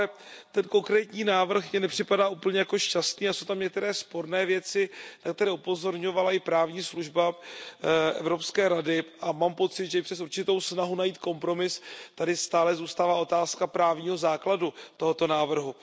Ale ten konkrétní návrh mi nepřipadá jako úplně šťastný a jsou tam některé sporné věci, jak tady upozorňovala i právní služba Evropské rady, a mám pocit, že i přes určitou snahu najít kompromis tady stále zůstává otázka právního základu tohoto návrhu.